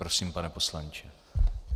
Prosím, pane poslanče.